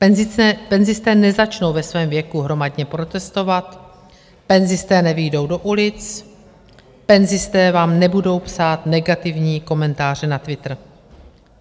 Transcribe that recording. Penzisté nezačnou ve svém věku hromadně protestovat, penzisté nevyjdou do ulic, penzisté vám nebudou psát negativní komentáře na twitter.